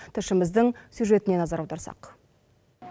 тілшіміздің сюжетіне назар аударсақ